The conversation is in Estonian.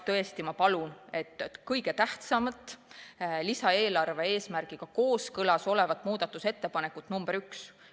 Tõesti ma palun toetada seda kõige tähtsamat ja lisaeelarve eesmärgiga kooskõlas olevat muudatusettepanekut nr 1.